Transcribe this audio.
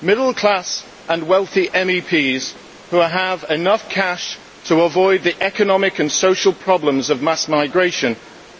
Middle class and wealthy MEPs, who have enough cash to avoid the economic and social problems of mass migration,